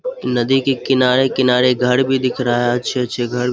नदी के किनारे-किनारे घर भी दिख रहा है। अच्छे-अच्छे घर--